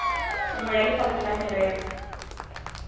nngwe ya lefapha la merero